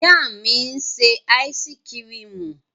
Ìyá mi ń ṣe áísíkrimù.